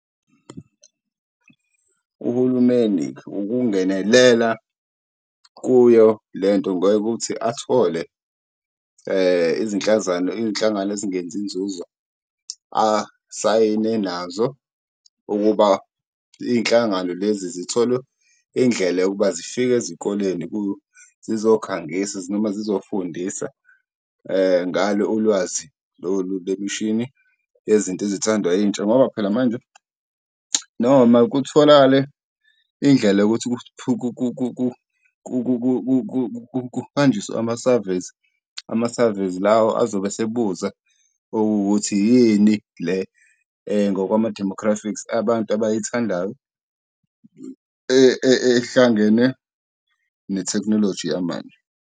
Uhulumeni ukungenelela kuyo le nto ngokuthi athole izinhlangano ezingenzi inzuzo, asayine nazo ukuba iy'nhlangano lezi zitholwe indlela yokuba zifike ezikoleni zizokhangisa noma ezizofundisa ngalo ulwazi lolu lemishini yezinto ezithandwa yintsha. Ngoba phela manje noma kutholakale indlela yokuthi kuhanjiswe ama-surveys, ama-surveys lawa azobe esebuza ukuthi yini le ngokwama-demographics abantu abayithandayo ehlangene nethekhinoloji yamanje.